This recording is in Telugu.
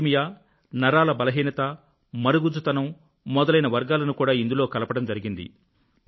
థాలసీమియా నరాల బలహీనత మరుగుజ్జుతనం మొదలైన వర్గాలను కూడా ఇందులో కలపడం జరిగింది